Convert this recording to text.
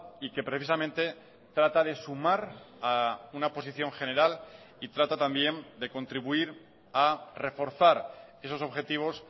y que precisamente trata de sumar a una posición general y trata también de contribuir a reforzar esos objetivos